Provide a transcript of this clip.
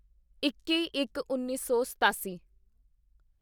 ਇੱਕੀਇੱਕਉੱਨੀ ਸੌ ਸਤਾਸੀ